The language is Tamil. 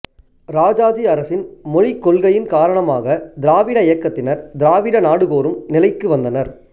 இராஜாஜி அரசின் மொழிக் கொள்கையின் காரணமாகத் திராவிட இயக்கத்தினர் திராவிட நாடு கோரும் நிலைக்கு வந்தனர்